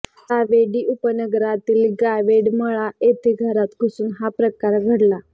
सावेडी उपनगरातील गावडेमळा येथे घरात घुसून हा प्रकार घडला